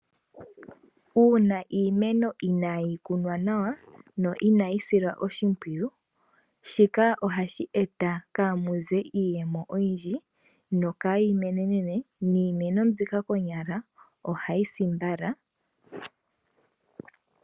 Uuna iimeno inayi kunwa nawa na ina yisilwa oshipwiyu shika ohashi eta kamuze iiyemo oyindji no kayi menene niimeno mbika konyala ohayi si mbala.